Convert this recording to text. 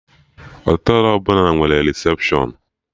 Họtelụ ọbụla nwere recepshụn